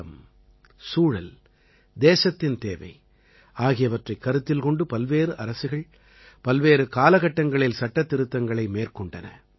காலம் சூழல் தேசத்தின் தேவை ஆகியவற்றைக் கருத்தில் கொண்டு பல்வேறு அரசுகள் பல்வேறு காலகட்டங்களில் சட்டத்திருத்தங்களை மேற்கொண்டன